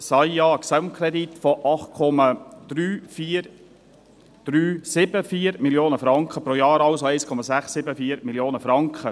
SAJA, einen Gesamtkredit von 8,374 Mio. Franken, pro Jahr also 1,674 Mio. Franken.